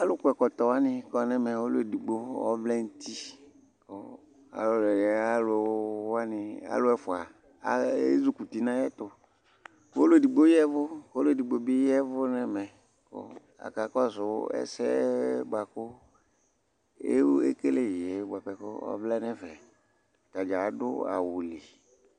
alò kɔ ɛkɔtɔ wani kɔ n'ɛmɛ ɔlò edigbo ɔvlɛ n'uti kò alò yɛ alò wani alò ɛfua ezi kuti n'ayi ɛtò k'ɔlò edigbo ya vu k'ɔlò edigbo bi ya vu n'ɛmɛ kò aka kɔsu ɛsɛ boa kò ekele yɛ boa pɛ k'ɔvlɛ n'ɛfɛ atadza adu awu li